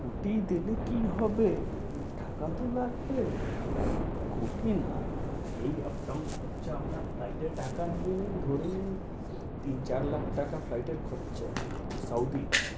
কোটি দিলে কী হবে? এই টাকা তো লাগবে। কোটি না, এই up down খরচা আপনার flight এ টাকা নিয়ে নিন ধরে নিন তিন চার লাখ টাকা flight এর খরচা। তাও